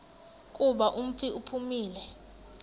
kuba umfi uphumile